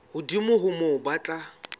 hodimo ho moo ba tla